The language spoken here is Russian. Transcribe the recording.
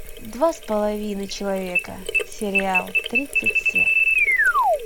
два с половиной человека сериал тридцать се